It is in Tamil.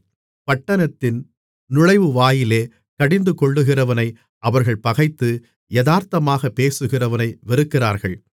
பட்டணத்தின் நுழைவுவாயிலிலே கடிந்துகொள்ளுகிறவனை அவர்கள் பகைத்து யதார்த்தமாகப் பேசுகிறவனை வெறுக்கிறார்கள்